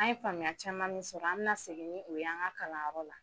An ye faamuya caman min sɔrɔ an mina segin ni o ye an ka kalanyɔrɔ la